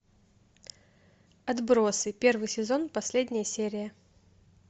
отбросы первый сезон последняя серия